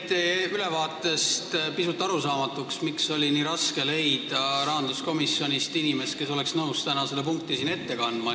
Mulle jäi ülevaatest pisut arusaamatuks, miks oli nii raske rahanduskomisjonist leida inimest, kes oleks nõus täna seda punkti siin ette kandma.